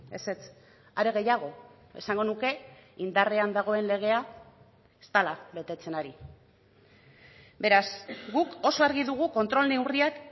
ezetz are gehiago esango nuke indarrean dagoen legea ez dela betetzen ari beraz guk oso argi dugu kontrol neurriak